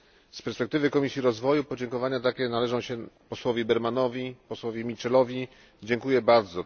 Z perspektywy Komisji Rozwoju podziękowania takie należą się posłowi Bermanowi, posłowi Mitchellowi, dziękuję bardzo.